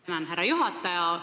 Tänan, härra juhataja!